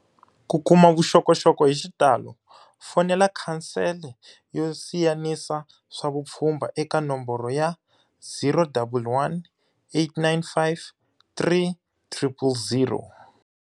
Ku kuma vuxokoxoko hi xitalo, fonela Khansele yo Siyanisa swa Vupfhumba eka nomboro ya-011 895 3000.